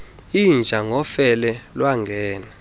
inja ngofele lwangena